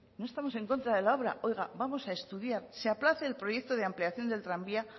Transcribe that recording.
no estamos en contra de la obra oiga vamos a estudiar se aplace el proyecto de ampliación del tranvía